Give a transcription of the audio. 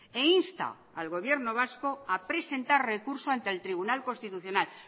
e insta al gobierno vasco a presentar recurso ante en tribunal constitucional